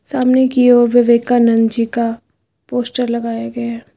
सामने की ओर विवेकानंद जी का पोस्टर लगाया गया है।